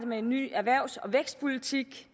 med en ny erhvervs og vækstpolitik